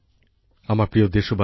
আমার প্রিয় দেশবাসী